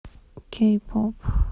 кей поп